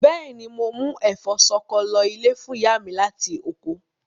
Bẹ́ẹ̀ni, mo mú ẹ̀fọ́ ṣọkọ lọ ilé fún ìyá mi láti oko.